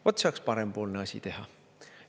Vot, see oleks parempoolne asi teha.